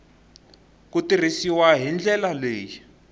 ku tirhisiwa hi ndlela leyi